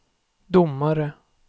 domare